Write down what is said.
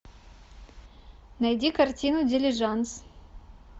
найди картину дилижанс